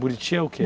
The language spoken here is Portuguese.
Buriti é o quê?